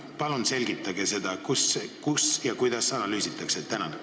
Palun selgitage, kus ja kuidas analüüsitakse!